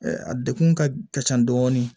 A degun ka ca dɔɔni